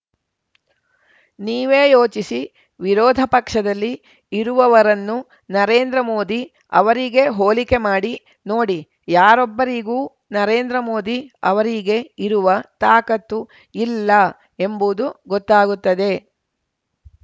ನೀವೇ ಯೋಚಿಸಿ ವಿರೋಧಪಕ್ಷದಲ್ಲಿ ಇರುವವರನ್ನು ನರೇಂದ್ರ ಮೋದಿ ಅವರಿಗೆ ಹೋಲಿಕೆ ಮಾಡಿ ನೋಡಿ ಯಾರೊಬ್ಬರಿಗೂ ನರೇಂದ್ರ ಮೋದಿ ಅವರಿಗೆ ಇರುವ ತಾಕತ್ತು ಇಲ್ಲ ಎಂಬುದು ಗೊತ್ತಾಗುತ್ತದೆ